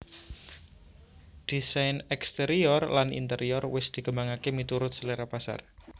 Désain exterior lan interior wis dikembangaké miturut selera pasar